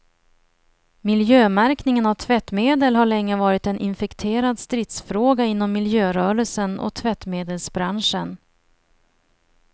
Miljömärkningen av tvättmedel har länge varit en infekterad stridsfråga inom miljörörelsen och tvättmedelsbranschen.